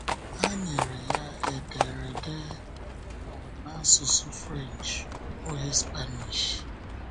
Ha nyere ya édèrdè um n’asụsụ French, ọ bụghị Spanish!